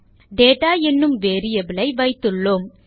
data என்னும் variable ஐ வைத்துள்ளோம்